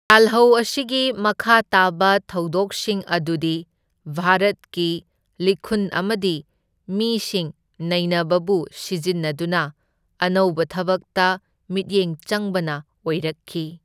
ꯂꯥꯜꯍꯧ ꯑꯁꯤꯒꯤ ꯃꯈꯥꯇꯥꯕ ꯊꯧꯗꯣꯛꯁꯤꯡ ꯑꯗꯨꯗꯤ ꯚꯥꯔꯠꯀꯤ ꯂꯤꯈꯨꯟ ꯑꯃꯗꯤ ꯃꯤꯁꯤꯡ ꯅꯩꯅꯕꯕꯨ ꯁꯤꯖꯤꯟꯅꯗꯨꯅ ꯑꯅꯧꯕ ꯊꯕꯛꯇ ꯃꯤꯠꯌꯦꯡ ꯆꯪꯕꯅ ꯑꯣꯏꯔꯛꯈꯤ꯫